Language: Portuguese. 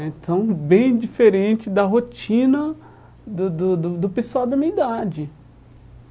Então, bem diferente da rotina do do do do pessoal da minha idade.